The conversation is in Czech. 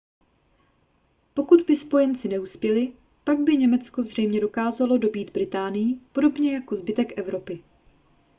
pokud by spojenci neuspěli pak by německo zřejmě dokázalo dobýt británii podobně jako zbytek evropy